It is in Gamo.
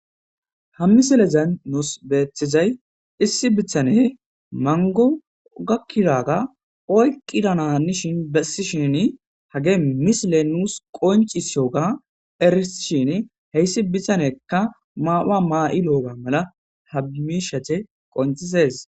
Ha misilezan nuus beethizay issi bithane mangu gakkiraga oyqqidananishin bessi shin hage misile nuus qoncisiyoga eris shin heyssi bithaneka maaaa maa'i lo'oga mala habmishete qoncises.